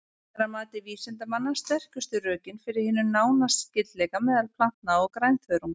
Þetta er að mati vísindamanna sterkustu rökin fyrir hinum nána skyldleika meðal plantna og grænþörunga.